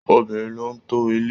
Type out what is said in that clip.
Obìnrin ló n to ilé.